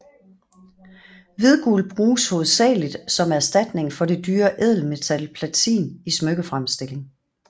Hvidguld bruges hovedsageligt som erstatning for det dyre ædelmetal platin i smykkefremstilling